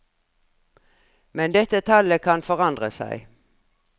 Men dette tallet kan forandre seg.